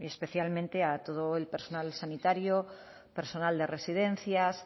especialmente a todo el personal sanitario personal de residencias